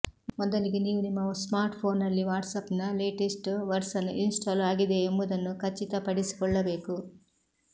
ಮೊದಲಿಗೆ ನೀವು ನಿಮ್ಮ ಸ್ಮಾರ್ಟ್ಫೋನ್ನಲ್ಲಿ ವಾಟ್ಸಾಪ್ನ ಲೇಟೆಸ್ಟ್ ವರ್ಸನ್ ಇನ್ಸ್ಟಾಲ್ ಆಗಿದೆಯೇ ಎಂಬುದನ್ನು ಖಚಿತಪಡಿಸಿಕೊಳ್ಳಬೇಕು